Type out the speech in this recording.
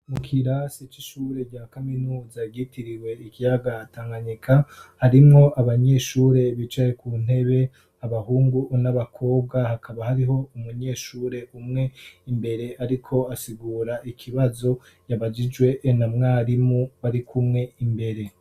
Mu kirasi c'ishure rya kaminuza ryitiriwe ikiyaga Tanganyika harimwo abanyeshure bicaye ku ntebe abahungu n'abakobwa hakaba hariho umunyeshure umwe imbere ariko asigura ikibazo yabajijwe na mwarimu bari kumwe imbere.